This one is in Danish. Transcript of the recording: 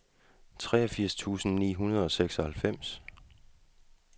treogfirs tusind ni hundrede og seksoghalvfems